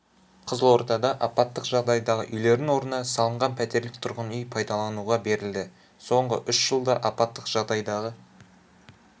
қызылордада апаттық жағдайдағы үйлердің орнына салынған пәтерлік тұрғын үй пайдалануға берілді соңғы үш жылда апаттық жағдайдағы